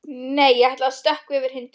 Nei, ég ætla að stökkva yfir hindrun.